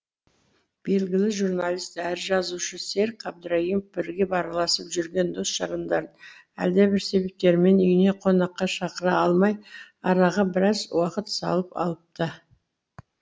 белгілі журналист әрі жазушы серік әбдірайымов бірге араласып жүрген дос жарандарын әлдебір себептермен үйіне қонаққа шақыра алмай араға біраз уақыт салып алыпты